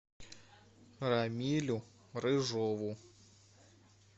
рамилю рыжову